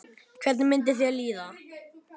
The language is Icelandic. Hvernig myndi þér líða?